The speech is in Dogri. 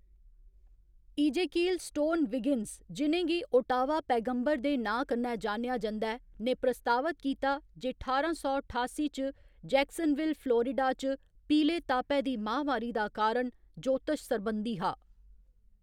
ईजेकील स्टोन विगिन्स, जि'नें गी ओटावा पैगम्बर दे नांऽ कन्नै जानेआ जंदा ऐ, ने प्रस्तावत कीता जे ठारां सौ ठासी च जैक्सनविल, फ्लोरिडा च पीले तापै दी महामारी दा कारण ज्योतश सरबंधी हा।